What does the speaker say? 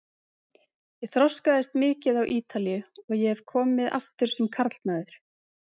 Ég þroskaðist mikið á Ítalíu og ég hef komið aftur sem karlmaður.